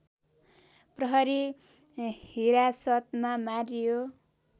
प्रहरी हिरासतमा मारियो